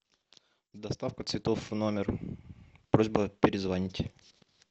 доставка цветов в номер просьба перезвонить